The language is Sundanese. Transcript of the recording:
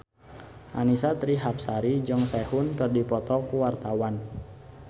Annisa Trihapsari jeung Sehun keur dipoto ku wartawan